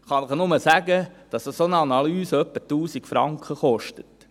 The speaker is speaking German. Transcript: Ich kann Ihnen nur sagen, dass eine solche Analyse etwa 1000 Franken kostet.